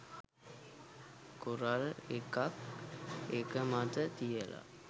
coral එකක් එක මත තියල